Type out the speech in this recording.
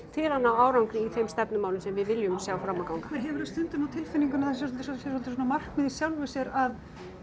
til að ná árangri í þeim stefnumálum sem við viljum sjá ná fram að ganga en hefurðu stundum á tilfinningunni að það sé svolítið svona markmið í sjálfu sér að